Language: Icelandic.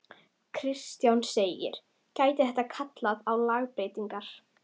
Kristján: Gæti þetta kallað á lagabreytingar?